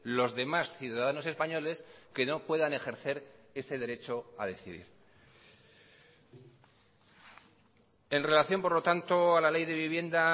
los demás ciudadanos españoles que no puedan ejercer ese derecho a decidir en relación por lo tanto a la ley de vivienda